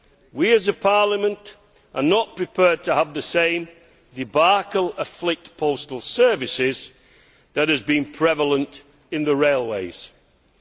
We as a Parliament are not prepared to have the same debacle afflict postal services that has been prevalent in the railway sector.